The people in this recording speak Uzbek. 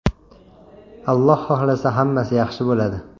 Alloh xohlasa, hammasi yaxshi bo‘ladi.